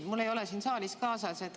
Mul ei ole siin saalis seda kaasas.